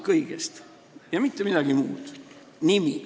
Kõigest paar sõna ja mitte midagi muud, nimi.